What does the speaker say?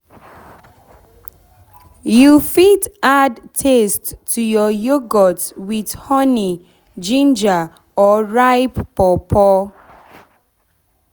you fit add taste to your yoghurt with honey ginger or ripe pawpaw.